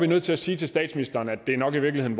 nødt til at sige til statsministeren at det nok i virkeligheden